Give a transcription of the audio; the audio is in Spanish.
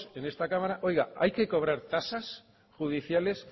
en esta cámara hay que cobrar tasas judiciales